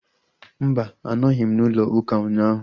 Mba, anọghị m n'ụlọ ụka ụnyaahụ